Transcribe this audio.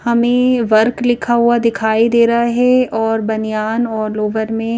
हमें वर्क लिखा हुआ दिखाई दे रहा है और बनियान और लोवर में--